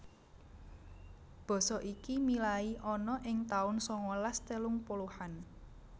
Basa iki milai ana ing taun sangalas telung puluhan